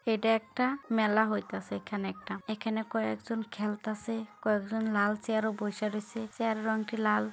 এটা একটা মেলা হইতাসে এখানে একটা। এখানে কয়েকজন খেলতাসে কয়েকজন লাল চেয়ার